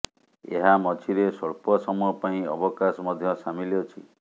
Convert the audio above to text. ଏହା ମଝିରେ ସ୍ୱଳ୍ପ ସମୟ ପାଇଁ ଅବକାଶ ମଧ୍ୟ ସାମିଲ ଅଛି